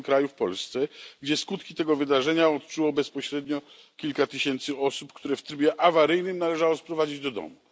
w moim kraju, w Polsce, gdzie skutki tego wydarzenia odczuło bezpośrednio kilka tysięcy osób, które w trybie awaryjnym należało sprowadzić do domu.